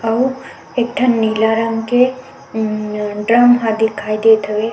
अऊ एक ठन नीला रंग के उम्म रंग हा दिखाई देत हवे।